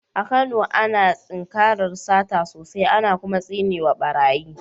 A Kano, ana tinkarar sata sosai, ana kuma tsine wa barayi.